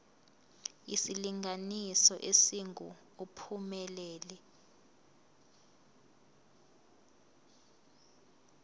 isilinganiso esingu uphumelele